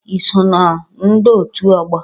I so na ndọ otu ógbò?